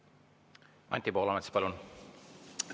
Anti Poolamets, palun!